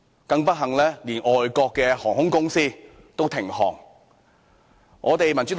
更不幸的是，連外國的航空公司都停航。